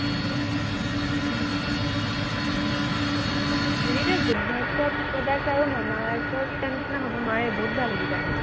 খালি এই গুড ভাইবচৰ product আৰু মামা আৰ্থৰ কিটাৰ নিচিনা হব নোৱাৰে, বহুত ভাল সেইকেইটা